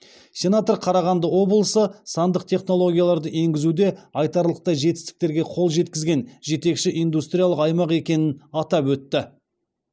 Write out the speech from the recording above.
сенатор қарағанды облысы сандық технологияларды енгізуде айтарлықтай жетістіктерге қол жеткізген жетекші индустриялық аймақ екенін атап өтті